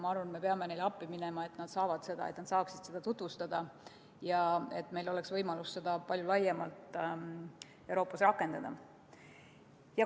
Ma arvan, me peame neile appi minema, et nad saaksid seda lahendust tutvustada ja et oleks võimalus seda palju laiemalt Euroopas rakendada.